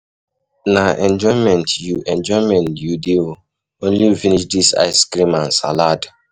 Na enjoyment you enjoyment you dey oo, only you finish dis ice cream and salad.